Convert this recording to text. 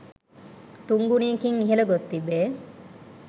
තුන් ගුණයකින් ඉහළ ගොස් තිබේ.